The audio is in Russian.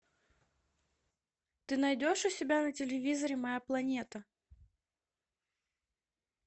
ты найдешь у себя на телевизоре моя планета